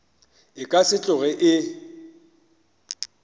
e ka se tsoge e